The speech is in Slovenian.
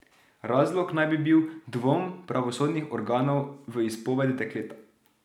Razlog naj bi bil dvom pravosodnih organov v izpoved dekleta.